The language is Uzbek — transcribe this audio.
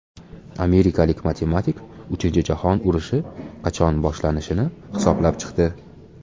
Amerikalik matematik uchinchi jahon urushi qachon boshlanishini hisoblab chiqdi.